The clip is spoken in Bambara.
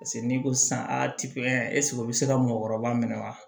Paseke n'i ko sisan o bɛ se ka mɔgɔkɔrɔba minɛ wa